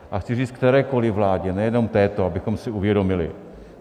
A chci říct kterékoli vládě, nejenom této, abychom si uvědomili.